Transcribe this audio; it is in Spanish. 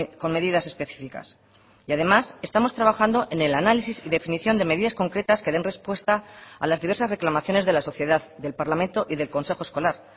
con medidas específicas y además estamos trabajando en el análisis y definición de medidas concretas que den respuesta a las diversas reclamaciones de la sociedad del parlamento y del consejo escolar